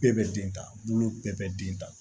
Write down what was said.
Bɛɛ bɛ den ta bolo bɛɛ bɛ den ta